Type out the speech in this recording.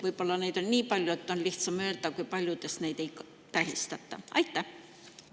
Võib-olla on neid riike nii palju, et on lihtsam öelda, kui paljudes neid ei tähistata.